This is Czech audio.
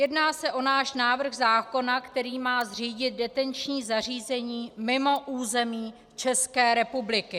Jedná se o náš návrh zákona, který má zřídit detenční zařízení mimo území České republiky.